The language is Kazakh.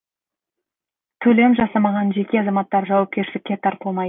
төлем жасамаған жеке азаматтар жауапкершілікке тартылмайды